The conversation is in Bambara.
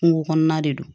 Kungo kɔnɔna de don